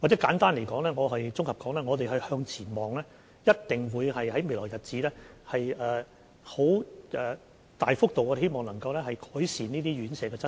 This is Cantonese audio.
簡單和綜合地說，我們一定會向前看，希望在未來日子能大幅度改善這些院舍的質素。